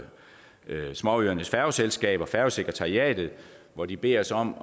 småøernes færgeselskaber og færgesekretariatet hvor de beder os om